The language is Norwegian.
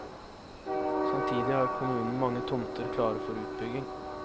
Samtidig har kommunen mange tomter klare for utbygging.